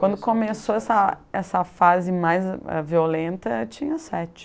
Quando começou essa essa fase mais violenta, eu tinha sete.